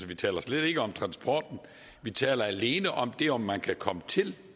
vi taler slet ikke om transporten vi taler alene om det om man kan komme til